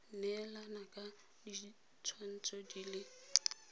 neelana ka ditshwantsho di le